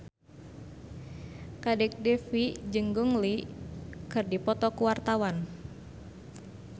Kadek Devi jeung Gong Li keur dipoto ku wartawan